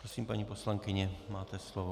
Prosím, paní poslankyně, máte slovo.